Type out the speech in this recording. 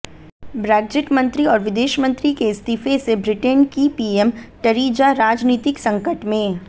Brexit मंत्री और विदेश मंत्री के इस्तीफे से ब्रिटेन की पीएम टरीजा राजनीतिक संकट में